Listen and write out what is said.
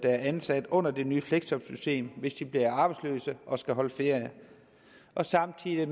er ansat under det nye fleksjobsystem hvis de bliver arbejdsløse og skal holde ferie samtidig